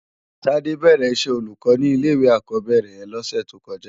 Tade bèrè iṣè ólúkò ni ilé iwé ákòbèrè yèn lòsè tókòjá